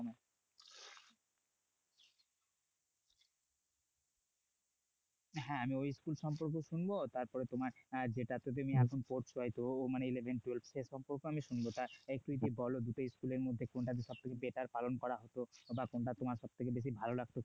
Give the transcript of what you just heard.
আমিও school সম্পর্কে শুনব তার পরে তোমার যেটাতে তুমি এখন পড়ছো মানে eleven twelve সে সম্পর্কেও আমি শুনবো তুমি কি বলো দুটোর মধ্যে কোনটা সবথেকে better পালন করা হতো কিংবা কোনটা তোমার সব থেকে বেশি ভালো লাগতো?